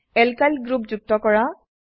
alkyl group যুক্ত কৰা